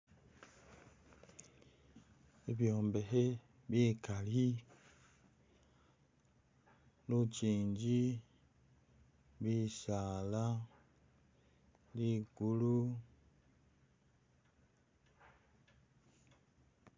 Bibyombekhe bikali lukyingi bisaala ligulu